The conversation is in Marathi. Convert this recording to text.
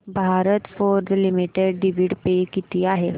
Bharat Forge limited dividend pay किती आहे